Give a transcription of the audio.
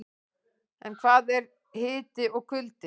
En hvað er hiti og kuldi?